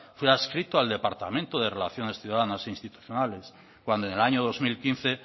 fue adscrito al departamento de relaciones ciudadanas e institucionales cuando en el año dos mil quince